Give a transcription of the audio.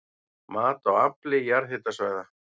Mat á afli jarðhitasvæða